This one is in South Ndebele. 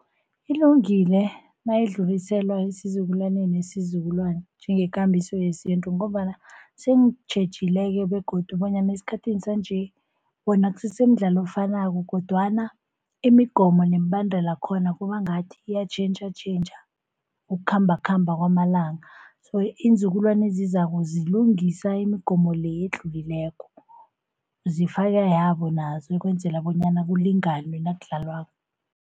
Ilungile nayidluliselwa esizukulwaneni ngesizukulwana njengekambiso yesintu, ngombana sengitjhejile-ke begodu bonyana esikhathini sanje wona kusese midlalo efanako. Kodwana imigomo nemibandela yakhona kuba ngathi iyatjhentjhatjhentjha ukukhambakhamba kwamalanga. So iinzukulwana ezizako zilungisa imigomo le edlulileko, zifake yabo nazo ukwenzela bonyana kulinganwe nakudlalwako.